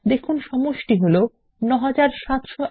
দেখুন সমষ্টি হল ৯৭০১০৪